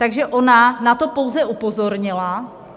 Takže ona na to pouze upozornila.